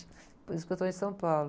Por isso que eu estou em São Paulo.